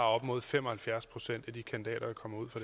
op imod fem og halvfjerds procent af de kandidater